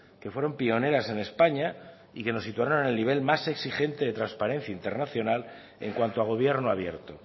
que fueron pioneras en españa y que nos situaron en el nivel más exigente de transparencia internacional en cuanto a gobierno abierto